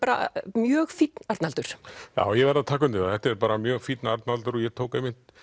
mjög fínn Arnaldur já ég verð að taka undir það þetta er mjög fínn Arnaldur ég tók einmitt